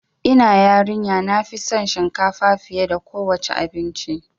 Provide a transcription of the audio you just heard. Ina yarin ya nafi son shinkafa fiye da kowa ce abinci